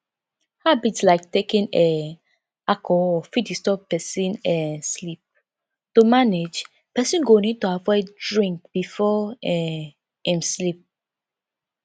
habits like taking um alcohol fit disturb person um sleep to manage person go need to avoid drink before um im sleep